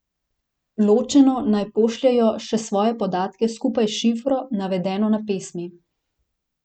Ločeno naj pošljejo še svoje podatke skupaj s šifro, navedeno na pesmi.